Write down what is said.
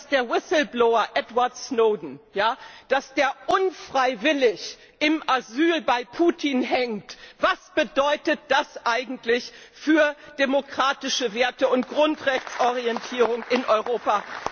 Und dass der whistleblower Edward Snowden unfreiwillig im Asyl bei Putin hängt, was bedeutet das eigentlich für die demokratischen Werte und die Grundrechteorientierung in Europa?